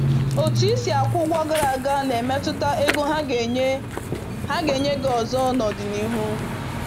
Otu i si akwụ ụgwọ gara aga na-emetụta ego ha ga-enye ha ga-enye gị ọzọ n’ọdịnihu.